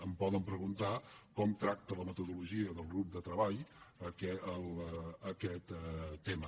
em poden preguntar com tracta la metodologia del grup de treball aquest tema